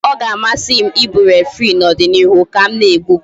Ee, ọ ga-amasị m ị bụ referii n'ọdịnịihu ka m na-egbu bọọlụ